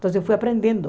Então, eu fui aprendendo.